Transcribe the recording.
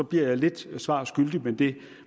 bliver jeg lidt svar skyldig men det